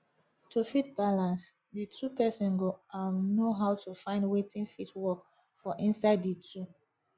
to fit balance di two person go um know how to find wetin fit work for inside di two